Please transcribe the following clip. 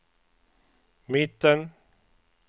mitten